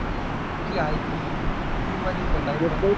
जी हाये ती true वालीय का timepass?